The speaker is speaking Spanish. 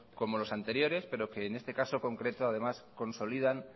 como los anteriores pero que en este caso concreto además consolidan